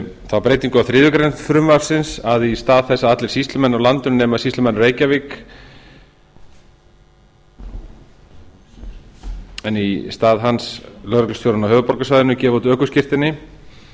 þá breytingu á þriðju greinar frumvarpsins að í stað þess að allir sýslumenn á landinu nema sýslumaðurinn í reykjavík en í hans stað lögreglustjórinn á höfuðborgarsvæðinu gefi út ökuskírteini